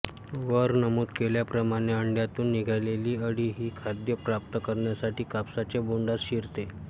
वर नमूद केल्याप्रमाणे अंड्यातून निघालेली अळी ही खाद्य प्राप्त करण्यासाठी कापसाचे बोंडात शिरते